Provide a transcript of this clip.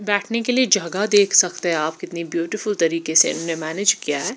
बैठने के लिए जगह देख सकते है आप कितनी ब्यूटीफुल तरीके से इन्होंने मैनेज किया है।